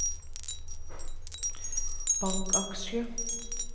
bankaksjer